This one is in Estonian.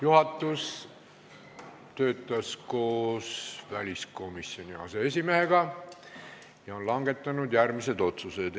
Juhatus töötas koos väliskomisjoni aseesimehega ja langetas järgmised otsused.